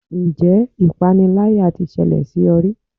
Ǹjẹ́ ipániláyà tí ṣẹlẹ̀ sí ọ rí?